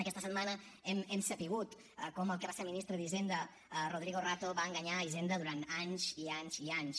aquesta setmana hem sabut com el que va ser ministre d’hisenda rodrigo rato va enganyar hisenda durant anys i anys i anys